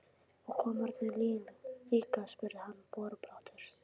Og kommarnir líka? spurði hann borubrattur.